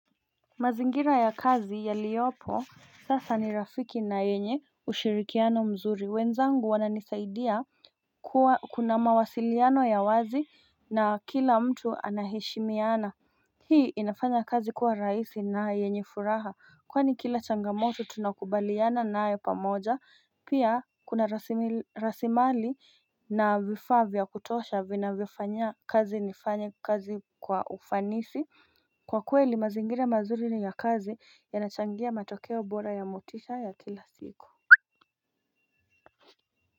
Mazingira ya kazi yaliyopo sasa ni rafiki na yenye ushirikiano mzuri. Wenzangu wananisaidia kuna mawasiliano ya wazi na kila mtu anahishimiana. Hii inafanya kazi kuwa rahisi na yenye furaha kwani kila changamoto tunakubaliana nayo pamoja pia kuna rasili rasimali na vifaa vya kutosha vinavyofanya kazi nifanye kazi kwa ufanisi. Kwa kweli mazingira mazuri ni ya kazi yanachangia matokeo bora ya motisha ya kila siku.